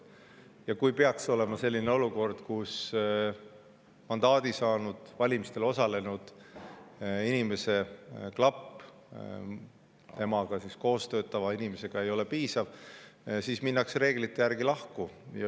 Ja kui peaks olema selline olukord, kus valimistel osalenud ja mandaadi saanud inimese klapp temaga koos töötava inimesega ei ole piisav, siis minnakse reeglite järgi lahku.